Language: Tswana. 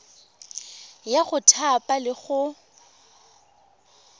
ya go thapa le go